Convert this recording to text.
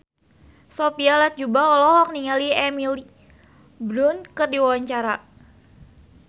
Sophia Latjuba olohok ningali Emily Blunt keur diwawancara